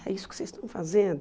É isso que vocês estão fazendo?